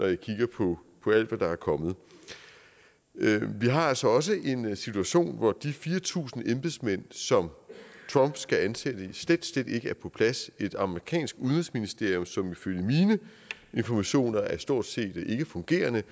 jeg kigger på alt det der er kommet vi har altså også en situation hvor de fire tusind embedsmænd som trump skal ansætte slet slet ikke er på plads et amerikansk udenrigsministerium som ifølge mine informationer er stort set ikkefungerende